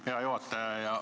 Hea juhataja!